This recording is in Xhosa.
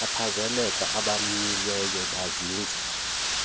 babachaphazelekayo abamanyiweyo buzinzise